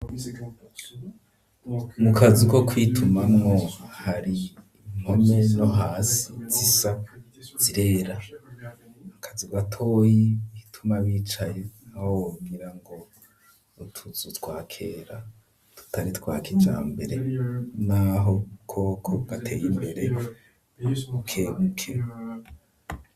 Mu kazu ko kwituma mwo ,hari impome no hasi zisa zirera, mukazu gatoyi ituma bicaye, aho wogira ngo utuzu twakera tutari twakija mbere, n'aho koko bateye imbere bukebuke.